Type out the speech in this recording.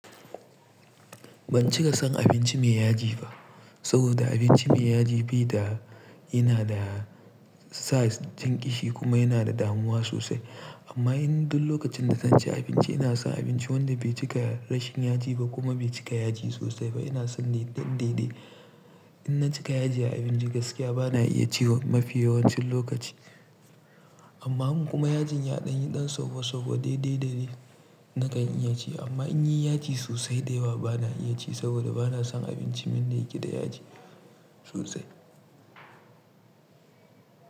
Ban cika son abinci mai yaji ba, saboda abinci mai yaji bi da yana da sa jan ƙishi kuma yana da damuwa sosai. Amma in duk lokacin da zan ci abinci ina son abinci wanda bai cika rashin yaji ba kuma bai cika yaji sosai ba, ina son the ɗan daidai. In na cika yaji a abinci gaskiya bana iya ci mafi yawancin lokaci. Amma kuma yajin yaɗan yi ɗan sobo sobo daidai dare nakan iya ci. Amma in yi yaji sosai da yawa bana iya ci saboda bana son abinci min da yake da yaji sosai.